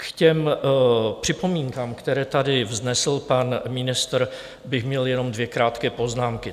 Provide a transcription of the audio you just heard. K těm připomínkám, které tady vznesl pan ministr, bych měl jenom dvě krátké poznámky.